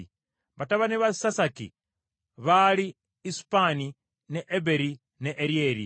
Batabani ba Sasaki baali Isupani, ne Eberi, ne Eryeri,